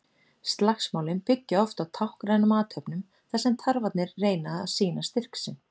Slagsmálin byggja oft á táknrænum athöfnum þar sem tarfarnir reyna að sýna styrk sinn.